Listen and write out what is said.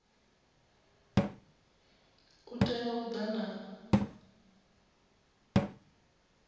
u tea u ḓa na